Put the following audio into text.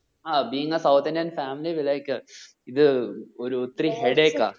ആ being sounth indian family will like ഇത് ഒരു ഒത്തിരി headache ആ